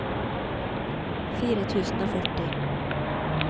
fire tusen og førti